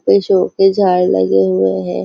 वो शो के झाड लगे हुए हैं।